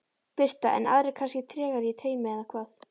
Birta: En aðrir kannski tregari í taumi eða hvað?